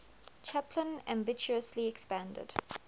chaplin ambitiously expanded